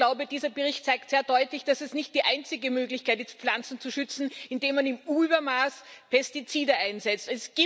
Und ich glaube, dieser Bericht zeigt sehr deutlich, dass es nicht die einzige Möglichkeit ist, Pflanzen zu schützen, indem man im Übermaß Pestizide einsetzt.